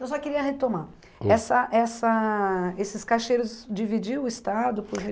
Eu só queria retomar, hum, essa essa esses cacheiros dividiam o estado por